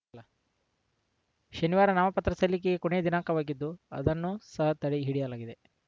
ಶನಿವಾರ ನಾಮಪತ್ರ ಸಲ್ಲಿಕೆಗೆ ಕೊನೆಯ ದಿನಾಂಕವಾಗಿದ್ದು ಅದನ್ನು ಸಹ ತಡೆ ಹಿಡಿಯಲಾಗಿದೆ